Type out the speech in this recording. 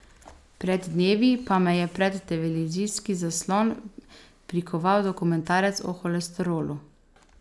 Pred dnevi pa me je pred televizijski zaslon prikoval dokumentarec o holesterolu.